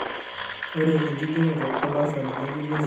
Ore enkigeroto olaasani ngejuk lesiai na keya erishata.